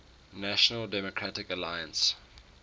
national democratic alliance